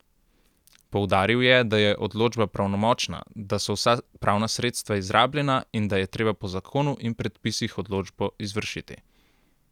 Poudaril je, da je odločba pravnomočna, da so vsa pravna sredstva izrabljena in da je treba po zakonu in predpisih odločbo izvršiti.